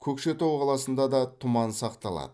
көкшетау қаласында да тұман сақталады